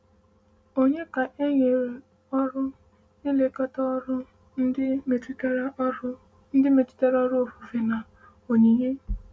Ònye ka e nyere ọrụ ịlekọta ọrụ ndị metụtara ọrụ ndị metụtara ofufe na onyinye?